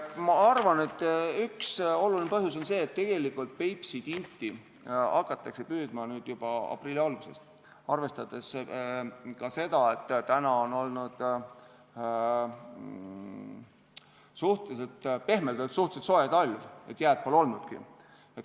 Ma arvan, et üks olulisi põhjusi on see, et Peipsi tinti hakatakse nüüd püüdma juba aprilli algusest, arvestades ka seda, et on olnud pehmelt öeldes suhteliselt soe talv, st jääd pole olnudki.